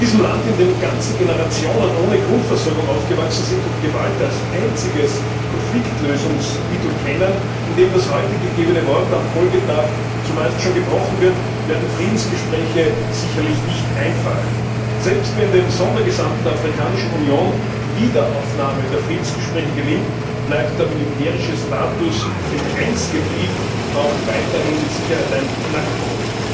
In diesem Land, in dem ganze Generationen ohne Grundversorgung aufgewachsen sind und Gewalt als einziges Konfliktlösungsmittel kennen, in dem das heute gegebene Wort am Folgetag zumeist schon gebrochen wird, werden Friedensgespräche sicherlich nicht einfach. Selbst wenn dem Sondergesandten der Afrikanischen Union die Wiederaufnahme der Friedensgespräche gelingt, bleibt der militärische Status im Grenzgebiet auch weiterhin mit Sicherheit ein Knackpunkt.